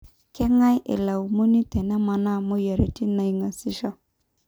Kengae eilaumuni tenemana moyiaritin naingaseisho?